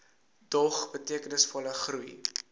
dog betekenisvolle groei